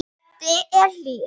Böddi er hlýr.